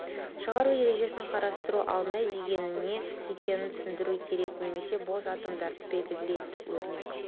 шығару ережесін қарастыру алдында деген не екенін түсіндіру керек немесе бос атомдарды белгілейді өрнек